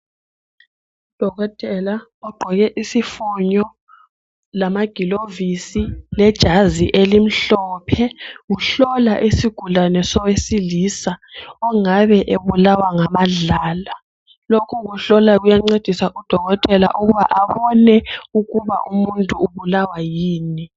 Udokotela ogqoke isifonyo lamagilovisi lejazi elimhlophe. Uhlola isigulane sowesilisa ongabe ebulawa ngamadlala, lokhu kuhlola kuyancedisa udokotela ukubana abone ukuthi umuntu ubulawa yini.